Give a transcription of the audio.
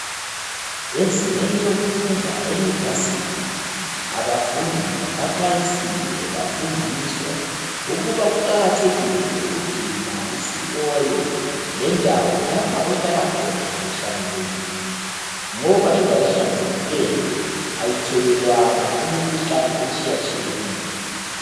Ezingeni lokufunda eliyivasithi, abafundi baxwayisiwe bafundiswa ukuba kuqakathekile ukugcina isikolo lendawo lapha ohlala khona kuhlanzekile. Ngoba indawo ehlanzekileyo ayithelelwana imikhuhlane etshiyetshiyeneyo.